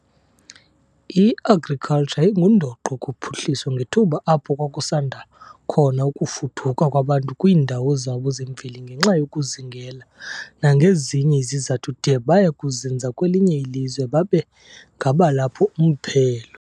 I-Agriculture yayingundoqo kuphuhliso ngethuba apho kwakusanda khona ukufuduka kwabantu kwiindawo zabo zemveli ngenxa yokuzingela nagezinye izizathu de baye kuzinza kwelinye ilizwe babe ngabalapho umphelo.